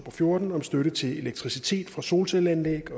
og fjorten om støtte til elektricitet fra solcelleanlæg